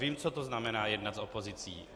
Vím, co to znamená jednat s opozicí.